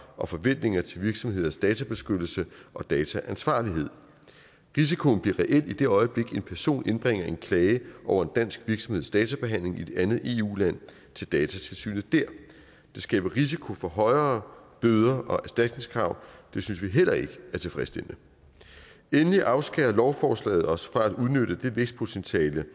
og forventninger til virksomheders databeskyttelse og dataansvarlighed risikoen bliver reel i det øjeblik en person indbringer en klage over en dansk virksomheds databehandling i et andet eu land til datatilsynet der det skaber risiko for højere bøder og erstatningskrav det synes vi heller ikke er tilfredsstillende endelig afskærer lovforslaget os fra at udnytte det vækstpotentiale der